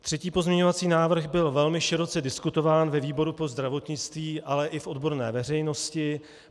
Třetí pozměňovací návrh byl velmi široce diskutován ve výboru pro zdravotnictví, ale i v odborné veřejnosti.